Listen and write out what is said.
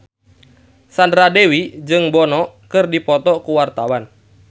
Sandra Dewi jeung Bono keur dipoto ku wartawan